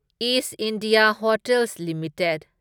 is India hotels limited